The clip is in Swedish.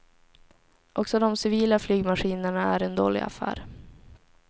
Också dom civila flygmaskinerna är en dålig affär.